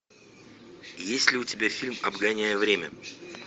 есть ли у тебя фильм обгоняя время